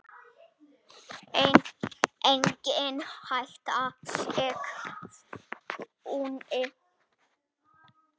Nei, engin hætta, sagði Gunni.